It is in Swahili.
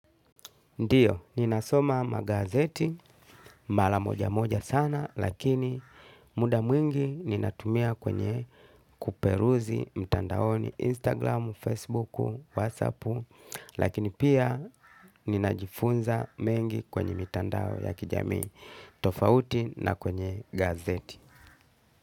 Ndiyo, ninasoma magazeti, mara moja moja sana, lakini muda mwingi ninatumia kwenye kuperuzi mtandaoni Instagram, Facebook, WhatsApp, lakini pia ninajifunza mengi kwenye mitandao ya kijamii tofauti na kwenye gazeti.